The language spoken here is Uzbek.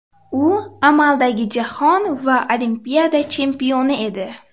U amaldagi jahon va Olimpiada chempioni edi.